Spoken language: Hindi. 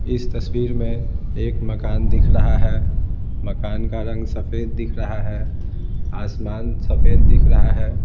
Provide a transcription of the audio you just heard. इस तस्वीर में एक मकान दिख रहा है मकान का रंग सफेद दिख रहा है आसमान सफेद दिख रहा है।